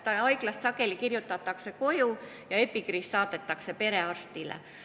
Haiglast kirjutatakse ta sageli koju ja epikriis saadetakse perearstile.